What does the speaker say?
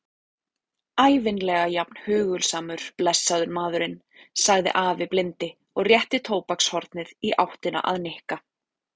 Ævinlega jafn hugulsamur, blessaður maðurinn sagði afi blindi og rétti tóbakshornið í áttina að Nikka.